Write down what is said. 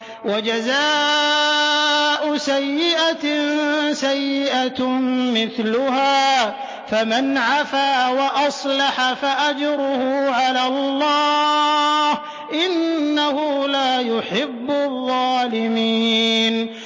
وَجَزَاءُ سَيِّئَةٍ سَيِّئَةٌ مِّثْلُهَا ۖ فَمَنْ عَفَا وَأَصْلَحَ فَأَجْرُهُ عَلَى اللَّهِ ۚ إِنَّهُ لَا يُحِبُّ الظَّالِمِينَ